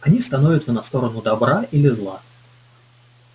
они становятся на сторону добра или зла